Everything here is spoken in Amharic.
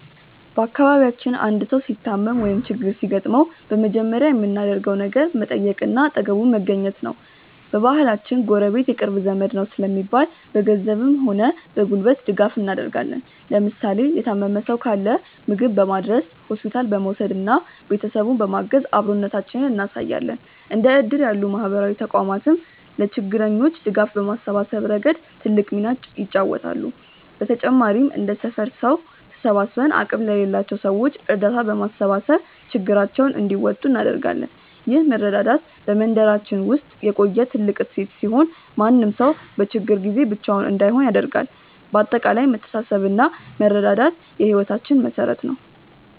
በአካባቢያችን አንድ ሰው ሲታመም ወይም ችግር ሲገጥመው በመጀመሪያ የምናደርገው ነገር መጠየቅና አጠገቡ መገኘት ነው። በባህላችን "ጎረቤት የቅርብ ዘመድ ነው" ስለሚባል፣ በገንዘብም ሆነ በጉልበት ድጋፍ እናደርጋለን። ለምሳሌ የታመመ ሰው ካለ ምግብ በማድረስ፣ ሆስፒታል በመውሰድና ቤተሰቡን በማገዝ አብሮነታችንን እናሳያለን። እንደ እድር ያሉ ማህበራዊ ተቋማትም ለችግረኞች ድጋፍ በማሰባሰብ ረገድ ትልቅ ሚና ይጫወታሉ። በተጨማሪም እንደ ሰፈር ሰው ተሰባስበን አቅም ለሌላቸው ሰዎች እርዳታ በማሰባሰብ ችግራቸውን እንዲወጡ እናደርጋለን። ይህ መረዳዳት በመንደራችን ውስጥ የቆየ ትልቅ እሴት ሲሆን፣ ማንም ሰው በችግር ጊዜ ብቻውን እንዳይሆን ያደርጋል። በአጠቃላይ መተሳሰብና መረዳዳት የህይወታችን መሠረት ነው።